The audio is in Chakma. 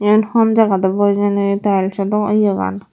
iyen hon jagat obo hijeni tiles oh yea gan.